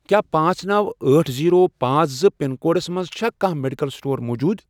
کیٛاہ پانژھ ،نو، أٹھ، زیٖرو، پانژھ، زٕ، پِن کوڈس مَنٛز چھا کانٛہہ میڈیکل سٹور موٗجوٗد؟